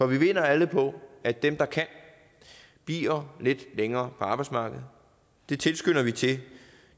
vi vinder alle på at dem der kan bliver lidt længere på arbejdsmarkedet det tilskynder vi til